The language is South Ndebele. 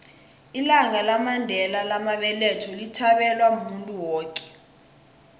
ilanga lamandela lamabeletho lithabelwa muntu woke